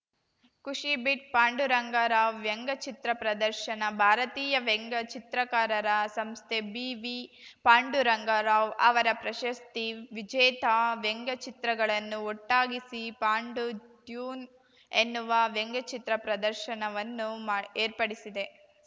ಖುಷಿ ಬಿಟ್‌ ಪಾಂಡುರಂಗ ರಾವ್‌ ವ್ಯಂಗ್ಯಚಿತ್ರ ಪ್ರದರ್ಶನ ಭಾರತೀಯ ವ್ಯಂಗ್ಯಚಿತ್ರಕಾರರ ಸಂಸ್ಥೆ ಬಿವಿ ಪಾಂಡುರಂಗ ರಾವ್‌ ಅವರ ಪ್ರಶಸ್ತಿ ವಿಜೇತ ವ್ಯಂಗ್ಯಚಿತ್ರಗಳನ್ನು ಒಟ್ಟಾಗಿಸಿ ಪಾಂಡುಟ್ಯೂನ್ ಎನ್ನುವ ವ್ಯಂಗ್ಯಚಿತ್ರ ಪ್ರದರ್ಶನವನ್ನು ಮಾ ಏರ್ಪಡಿಸಿದೆ